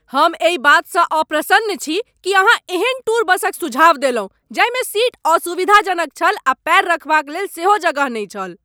हम एहि बातसँ अप्रसन्न छी कि अहाँ एहन टूर बसक सुझाव देलहुँ जाहिमे सीट असुविधाजनक छल आ पैर रखबाक लेल सेहो जगह नहि छल।